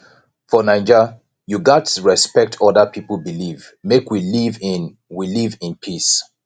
for naija you gats respect oda pipo belief make we live in we live in peace